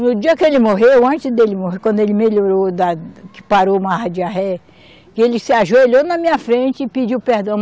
No dia que ele morreu, antes dele morrer, quando ele melhorou da, que parou mais a diarreia, que ele se ajoelhou na minha frente e pediu perdão.